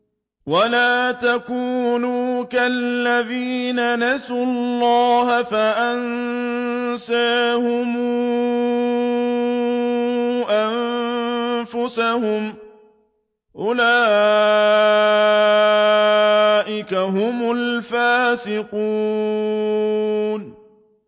وَلَا تَكُونُوا كَالَّذِينَ نَسُوا اللَّهَ فَأَنسَاهُمْ أَنفُسَهُمْ ۚ أُولَٰئِكَ هُمُ الْفَاسِقُونَ